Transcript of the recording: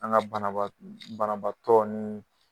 An ka banabaa banabaatɔ ninnu.